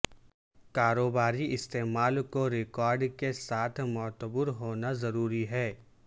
کاروباری استعمال کو ریکارڈ کے ساتھ معتبر ہونا ضروری ہے